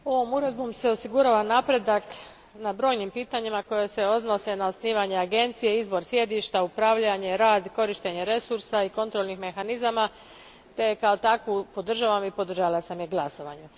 Gospodine predsjedniče, ovom se uredbom osigurava napredak u brojnim pitanjima koja se odnose na osnivanje agencije, izbor sjedišta, upravljanje, rad i korištenje resursa i kontrolnih mehanizama, te je kao takvu podržavam i podržala sam je glasovanjem.